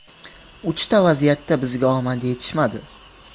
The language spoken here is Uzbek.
Uchta vaziyatda bizga omad yetishmadi.